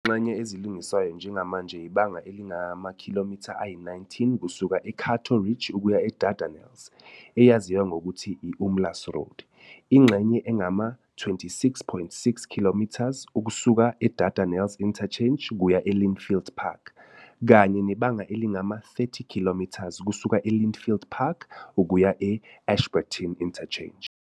Izingxenye ezilungiswayo njengamanje ibanga elingamakhilomitha, km, ayi-19 kusuka e-Cato Ridge ukuya e-Dardanelles, eyaziwa ngokuthi i-Umlaas Road, ingxenye engama-26.6 km ukusuka e-Dardanelles Interchange kuya e-Lynnfield Park, kanye nebanga elingama-30 km kusuka e-Lynnfield Park ukuya e-Ashburton Interchange.